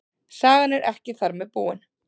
Sagan er ekki þar með búin.